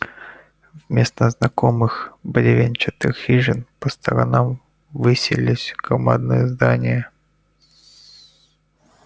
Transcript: вместо знакомых бревенчатых хижин по сторонам высились громадные здания